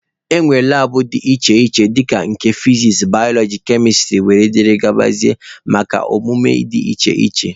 E nwere labụ dị iche iche dika nke fiziks, balọọji, kemịstrị wdg maka ọmụmụ dị iche iche.